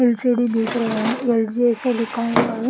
LCD देख रहे हैं लिखा हुआ है।